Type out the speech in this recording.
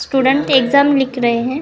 Student एकदम लिख रहे हैं।